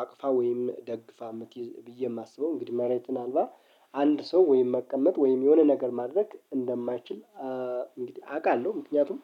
አቅፋ ወይም ደግፋ የምትይዝ ብዬ የማስበው እንግዲህ መሬትን አልባ አንድ ሰው ወይም መቀመጥ ወይም የሆነ ነገር ማድረግ እንደማይችል። እንግዲህ አውቃለሁ ምክንያቱም